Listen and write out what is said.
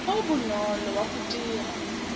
o bonolo wa go dira